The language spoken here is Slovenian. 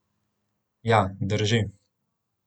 Ja, drži.